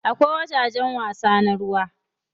Akwai wajajen wasa na ruwa.